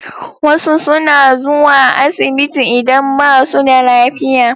Wasu suna zuwa asibiti idan ba su da lafiya.